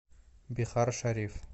бихаршариф